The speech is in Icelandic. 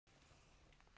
Komiði sæl!